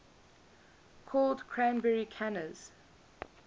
called cranberry canners